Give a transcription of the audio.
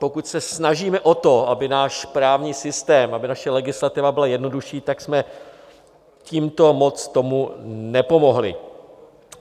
Pokud se snažíme o to, aby náš právní systém, aby naše legislativa byla jednoduší, tak jsme tímto moc tomu nepomohli.